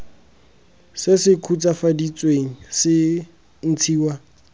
se se khutswafaditsweng se ntshiwa